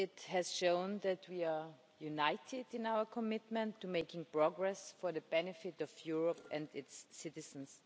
It has shown that we are united in our commitment to making progress for the benefit of Europe and its citizens.